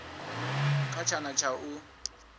kha tshana tsha u a